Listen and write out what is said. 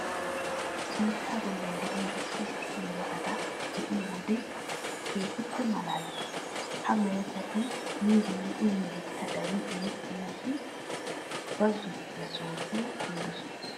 Biittaa bollan de'iya issi issi meretata be'iyo wode keehippe maalaalees. Ha meretati miyobinne uyiyobikka darin erettenna shin bazottiya sohotun kumidosona.